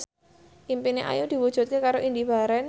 impine Ayu diwujudke karo Indy Barens